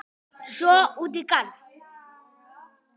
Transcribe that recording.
Svo út í garð.